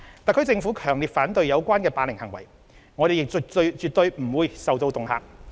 特區政府強烈反對有關的霸凌行為，我們亦絕對不會受到恫嚇。